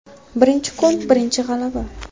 Birinchi kun birinchi g‘alaba.